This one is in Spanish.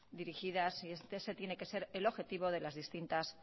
dirigidas y ese tiene que ser el objetivo de las distintas